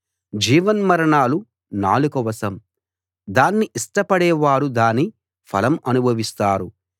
జీవన్మరణాలు నాలుక వశం దాన్ని ఇష్టపడే వారు దాని ఫలం అనుభవిస్తారు